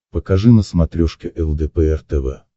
покажи на смотрешке лдпр тв